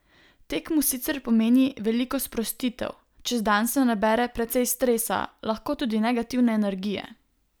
Tek mu sicer pomeni veliko sprostitev: "Čez dan se nabere precej stresa, lahko tudi negativne energije.